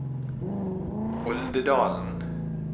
Oldedalen